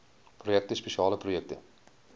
projekte spesiale projekte